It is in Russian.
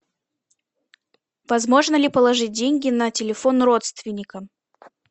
возможно ли положить деньги на телефон родственника